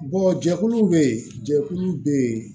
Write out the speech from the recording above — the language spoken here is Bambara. jɛkuluw bɛ yen jɛkulu bɛ yen